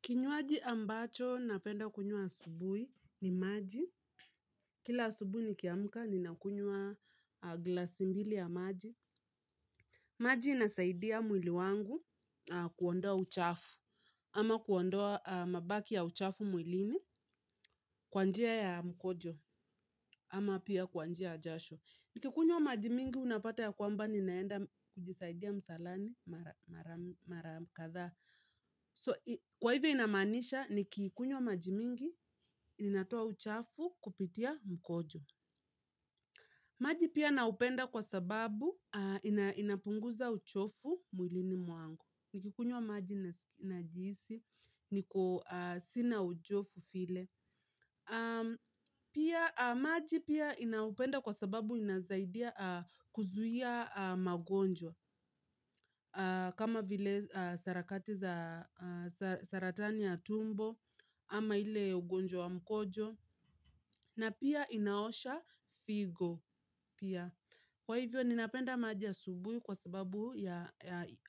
Kinywaji ambacho napenda kunywa asubuhi ni maji. Kila asubuhi nikiamka ninakunywa glasi mbili ya maji. Maji inasaidia mwili wangu kuondoa uchafu ama kuondoa mabaki ya uchafu mwilini kwa njia ya mkojo ama pia kwa njia ya jasho. Nikikunywa maji mingi unapata ya kwamba ninaenda kujisaidia msalani mara kadhaa. Kwa hivyo inamaanisha nikikunywa maji mingi ninatoa uchafu kupitia mkojo. Maji pia naupenda kwa sababu inapunguza uchovu mwilini mwangu. Nikikunywa maji najihisi, niko sina uchovu vile. Pia maji pia ninaupenda kwa sababu inasaidia kuzuia magonjwa. Kama vile sarakati za saratani ya tumbo ama ile ugonjwa wa mkojo. Na pia inaosha figo pia. Kwa hivyo ninapenda maji asubuhi kwa sababu ya